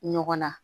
Ɲɔgɔn na